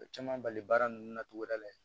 Caman bali baara nunnu na togoda la yen